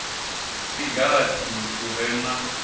si gathi u re na